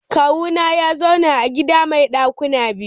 Kawuna ya zauna a gida mai dakuna biyu.